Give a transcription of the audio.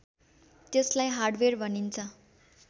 त्यसलाई हार्डवेयर भनिन्छ